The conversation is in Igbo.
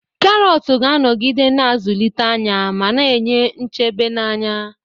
Karọt ga-anọgide na-azụlite anya ma na-enye nchebe na anya.